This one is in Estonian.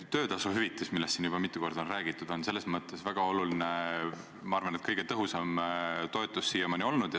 Töötasuhüvitis, millest siin juba mitu korda on räägitud, on selles mõttes väga oluline, ma arvan, et see on kõige tõhusam toetus siiamaani olnud.